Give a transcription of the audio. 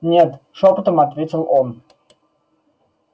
нет шёпотом ответил он